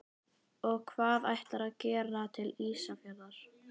Og hvað ætlarðu að gera til Ísafjarðar?